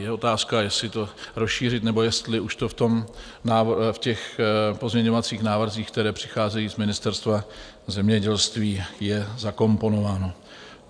Je otázka, jestli to rozšířit nebo jestli už to v těch pozměňovacích návrzích, které přichází z Ministerstva zemědělství, je zakomponováno.